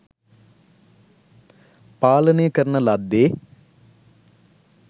පාලනය කරන ලද්දේ